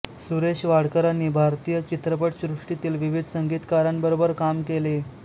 सुरेश वाडकरांनी भारतीय चित्रपट सृष्टीतील विविध संगीतकारांबरोबर काम केले